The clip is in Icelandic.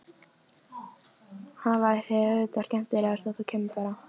Það væri auðvitað skemmtilegast að þú kæmir bara!